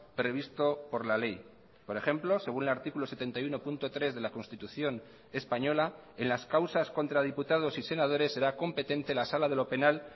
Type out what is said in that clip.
previsto por la ley por ejemplo según el artículo setenta y uno punto tres de la constitución española en las causas contra diputados y senadores será competente la sala de lo penal